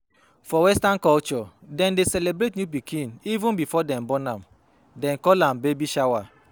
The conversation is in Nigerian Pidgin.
For western culture dem dey celebrate new pikin even before dem born am they call am baby shower